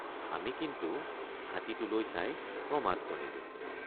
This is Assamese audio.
আমি কিন্তু হাতীটোলৈ চাই প্ৰমাদ গণিলোঁ।